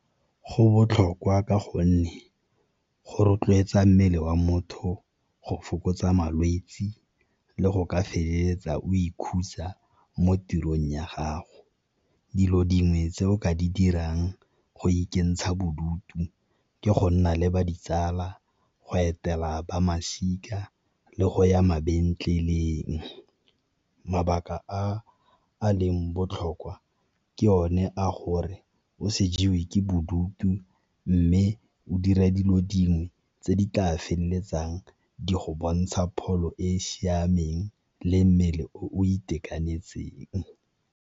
Go botlhokwa ka gonne go rotloetsa mmele wa motho go fokotsa malwetsi le go ka feleletsa o ikhutsa mo tirong ya gago. Dilo dingwe tse o ka di dirang go ikentsha bodutu ke go nna le ba ditsala, go etela ba masika le go ya . Mabaka a a leng botlhokwa ke one a gore o se jewe ke bodutu, mme o dire dilo dingwe tse di tla feleletsang di go bontsha pholo e e siameng le mmele o itekanetseng.